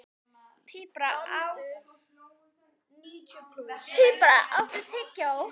Tíbrá, áttu tyggjó?